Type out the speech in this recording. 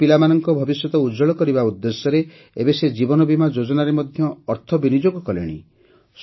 ନିଜ ପିଲାମାନଙ୍କର ଭବିଷ୍ୟତ ଉଜ୍ଜ୍ୱଳ କରିବା ଉଦ୍ଦେଶ୍ୟରେ ଏବେ ସେ ଜୀବନବୀମା ଯୋଜନାରେ ମଧ୍ୟ ଅର୍ଥ ବିନିଯୋଗ କଲେଣି